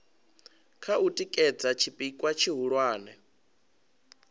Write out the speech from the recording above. kha u tikedza tshipikwa tshihulwane